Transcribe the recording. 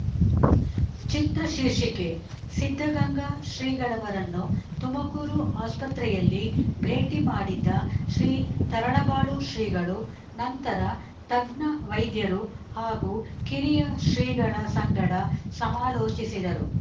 ಚಿತ್ರಶೀರ್ಷಿಕೆ ಸಿದ್ಧಗಂಗಾ ಶ್ರೀಗಳವರನ್ನು ತುಮಕೂರು ಆಸ್ಪತ್ರೆಯಲ್ಲಿ ಭೇಟಿ ಮಾಡಿದ್ದ ಶ್ರೀ ತರಳಬಾಳು ಶ್ರೀಗಳು ನಂತರ ತಜ್ಞ ವೈದ್ಯರು ಹಾಗೂ ಕಿರಿಯ ಶ್ರೀಗಳ ಸಂಗಡ ಸಮಾಲೋಚಿಸಿದರು